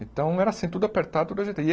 Então era assim, tudo apertado, tudo agita e